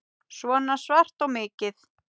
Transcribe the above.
Svona svart og mikið.